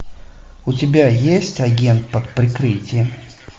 у тебя есть агент под прикрытием